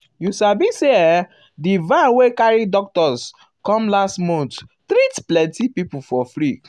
you sabi say ehm di van wey carry doctors doctors come last month treat plenty people for free.